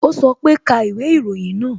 O sọ pe "ka ìwé ìròyìn náà"